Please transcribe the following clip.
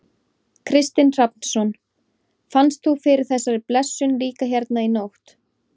Kristinn Hrafnsson: Fannst þú fyrir þessari blessun líka hérna í nótt?